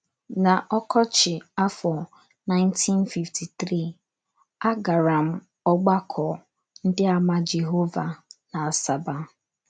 N’ọkọchị afọ 1953, a gara m ọgbakọ Ndịàmà Jehova n’Asaba.